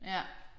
Ja